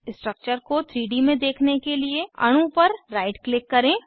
structure को 3 D में देखने के लिए अणु पर राइट क्लिक करें